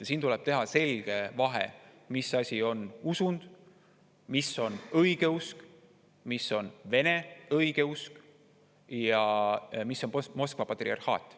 Siin tuleb teha selget vahet, mis asi on usund, mis on õigeusk, mis on vene õigeusk ja mis on Moskva patriarhaat.